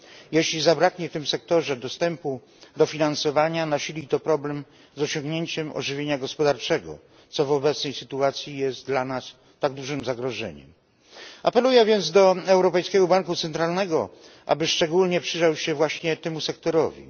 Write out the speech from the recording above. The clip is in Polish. Jeśli zabraknie w tym sektorze dostępu do finansowania, nasili to problem z osiągnięciem ożywienia gospodarczego, co w obecnej sytuacji jest dla nas tak dużym zagrożeniem. Apeluję więc do Europejskiego Banku Centralnego, aby szczególnie przyjrzał się właśnie temu sektorowi.